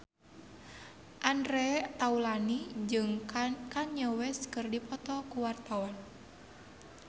Andre Taulany jeung Kanye West keur dipoto ku wartawan